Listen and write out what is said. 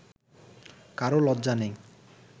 কারও লজ্জা নেই